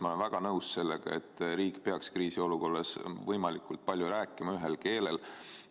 Ma olen väga nõus sellega, et riik peaks kriisiolukorras võimalikult palju rääkima ühel keelel.